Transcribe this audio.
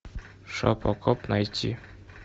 шопо коп найти